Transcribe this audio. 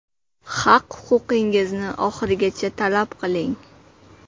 Haq-huquqingizni oxirigacha talab qiling!